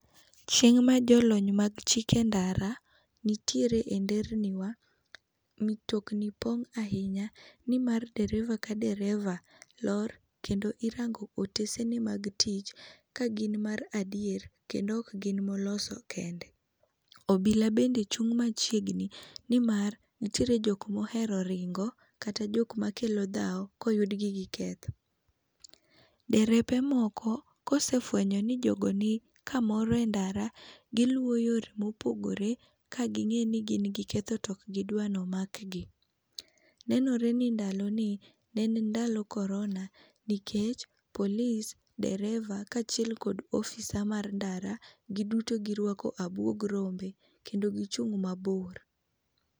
Chieng' ma jolony mag chike ndara nitiere e nderni wa mutokni pong' ahinya nimar dereva ka dereva lor, kendo irango otesene mag tich kagin mar adier kendo ok gin moloso kende. Obila bende chung' machiegni nimar nitiere jok mohero ringo kata jok makelo dhaw koyudgi gi ketho. Derepe moko kose fuenyo ni jogo nikamoro endara, giluwo yore mopogore ka ging'e ni gin giketho to ok gidwa nomakgi. Nenore ni ndaloni ne en ndalo korona nikech police, dereba kaachiel kod ofisa mar ndara giduto giruako abuog rombe, kendo gichung‘ mabor.